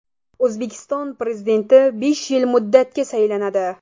O‘zbekiston Prezidenti besh yil muddatga saylanadi .